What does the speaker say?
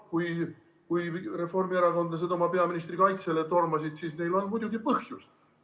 Kui reformierakondlased oma peaministri kaitsele tormasid, siis neil on selleks muidugi põhjust.